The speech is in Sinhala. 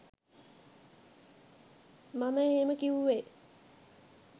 මම එහෙම කිවුවේ